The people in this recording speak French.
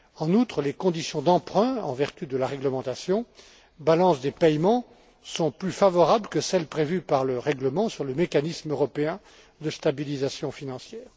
En outre, les conditions d'emprunt en vertu de la réglementation sur la balance des paiements sont plus favorables que celles prévues par le règlement sur le mécanisme européen de stabilisation financière.